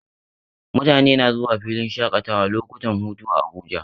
Mutane na zuwa filin shaƙatawa lokutan hutu a Abuja